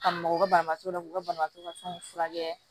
Ka maka u ka banabaatɔ la k'u ka banabaatɔ ka fɛnw furakɛ